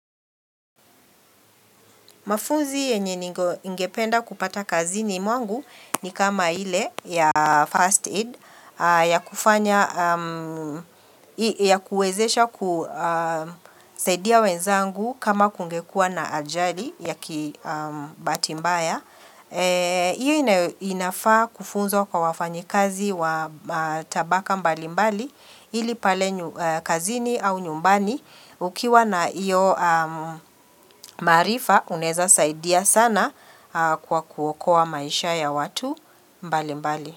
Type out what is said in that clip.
Mafunzi yenye ningependa kupata kazini mwangu ni kama ile ya first aid ya kufanya ya kuezesha kusaidia wenzangu kama kungekua na ajali ya kibahati mbaya. Iyo inafaa kufuzwa kwa wafanyikazi wa matabaka mbali mbali ili pale kazini au nyumbani Ukiwa na iyo maarifa unaeza saidia sana kwa kuokoa maisha ya watu mbali mbali.